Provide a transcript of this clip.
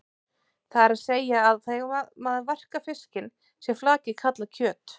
Það er að segja að þegar maður verkar fiskinn sé flakið kallað kjöt.